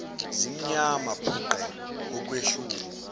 zimnyama bhuqe okwehlungu